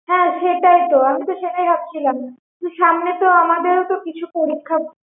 হ্যাঁ সেটাই তো আমি সেটাই তো ভাবছিলাম সামনে তো আমাদের কিছু পরীক্ষা